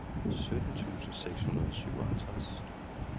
sytten tusind seks hundrede og syvoghalvtreds